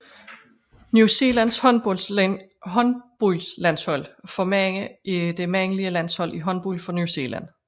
New Zealands håndboldlandshold for mænd er det mandlige landshold i håndbold for New Zealand